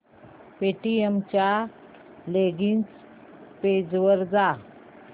Paytm च्या login page वर जा